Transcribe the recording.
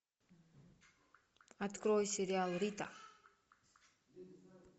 открой сериал рита